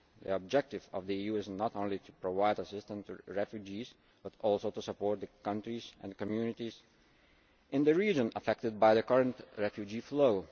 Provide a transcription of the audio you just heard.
The objective of the EU is not only to provide assistance to refugees but also to support the countries and communities in the region affected by the current refugee flow.